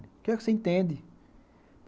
O que é que você entende?